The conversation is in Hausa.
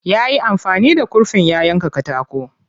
Yayi amfani da kurfin ya yanka katako.